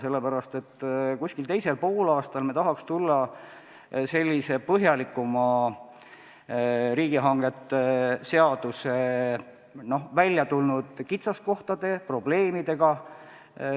Millalgi teisel poolaastal tahaksime tulla välja sellise põhjalikuma ülevaatega riigihangete seaduses esile tulnud kitsaskohtadest ja probleemidest.